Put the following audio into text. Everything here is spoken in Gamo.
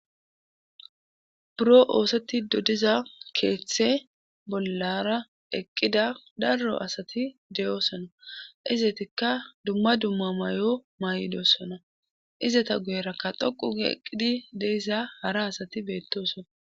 Buro oosetido diza keeththe bollara eqqida daro asati de'oosona izetikka dumma dumma may'o may'idossona izeta guyerakka dhoqu gii eqqidi de'issa hara asati beettosona